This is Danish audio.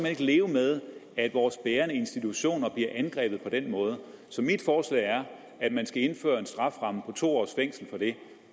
ikke leve med at vores bærende institutioner bliver angrebet på den måde så mit forslag er at man skal indføre en strafferamme på to års fængsel for det